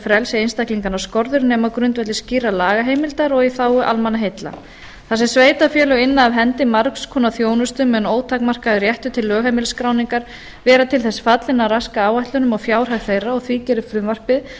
frelsi einstaklinganna skorður nema á grundvelli skýrrar lagaheimildar og í þágu almannaheilla þar sem sveitarfélög inna af hendi margs konar þjónustu með ótakmörkuðum rétti til lögheimilisskráningar vera til þess fallinn að raska áætlunum og fjárhag þeirra og því gerir frumvarpið